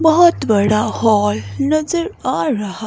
बहोत बड़ा हॉल नजर आ रहा--